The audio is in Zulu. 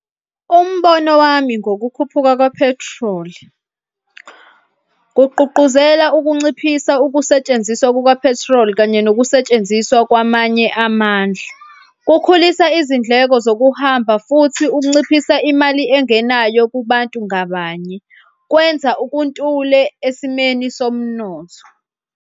Umbono wami ngokukhuphuka ka-petrol, kugqugquzela ukunciphisa ukusetshenziswa kuka-petrol kanye nokusetshenziswa kwamanye amandla, kukhulisa izindleko zokuhamba futhi kunciphisa imali engenayo kubantu ngabanye. Kwenza ubuntule esimweni somnotho.